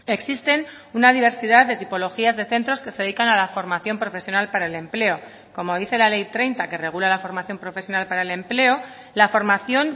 existen una diversidad de tipologías de centros que se dedican a la formación profesional para el empleo como dice la ley treinta que regula la formación profesional para el empleo la formación